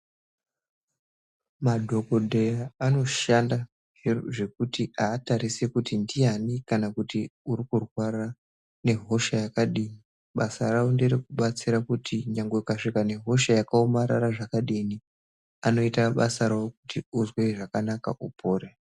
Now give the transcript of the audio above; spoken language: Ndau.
Madhokodheya anoshanda nezvekuti, hatarise kuti ndiyani, kana kuti urikurwara nehosha yakadini. Basa ravo nderekubatsira kuti nyangwe ukaswika nehosha yakawomarara zvakadini, anoyita basa rawo kuti uzve zvakanaka, upore.